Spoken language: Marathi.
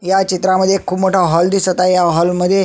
ह्या चित्रामध्ये खुप मोठा हॉल दिसत आहे या हॉल मध्ये--